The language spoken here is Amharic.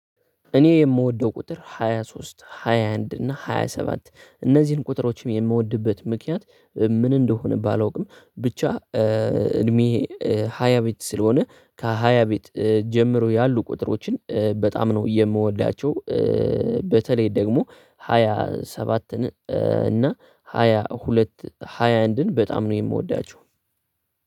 እኔ የምወደው ቁጥር ሃያ ሶስት ሃያ አንድ እና ሃያ ሰባት እነዚህን ቁጥሮችም የምወድበት ምክንያት ምን እንደሆነ ባላውቅም ብቻ እድሜ ሃያ ቤት ስለሆነ ከሃያ ቤት ጀምሮ ያሉ ቁጥሮችን በጣም ነው የምወዳቸው። በተለይ ደግሞ ሃያ ሰባትን እና ሃያ ሁለት ሃያ አንድን በጣም ነው የምወዳቸው።